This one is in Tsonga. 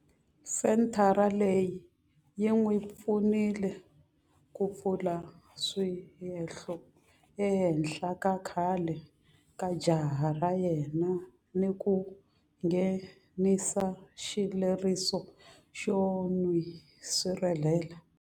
Senthara leyi yi n'wi pfunile ku pfula swihehlo ehenhla ka khale ka jaha ra yena ni ku nghenisa xileriso xo n'wi sirhelela.